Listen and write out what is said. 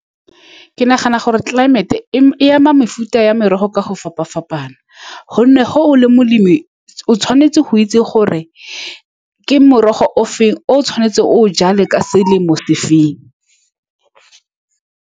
Ke nagana gore tlelaemete e-e ama mefuta ya merogo ka go fapa-fapaneng, ka gonne ga o le molemi o tshwanetse go itse, gore ke morogo o feng o o tshwanetse o o jale ka selemo sefeng.